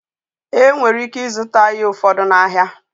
E nwere ike ịzụta ihe ụfọdụ n'ahịa.